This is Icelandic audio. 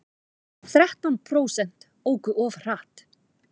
Þrettán prósent óku of hratt